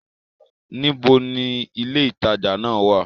Níbo ni ilé ìtajà náà wà?